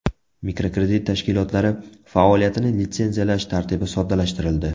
Mikrokredit tashkilotlari faoliyatini litsenziyalash tartibi soddalashtirildi.